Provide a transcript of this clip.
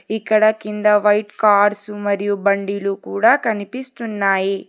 ఇక్కడ కింద white cars మరియు బండిలు కూడా కనిపిస్తున్నాయి.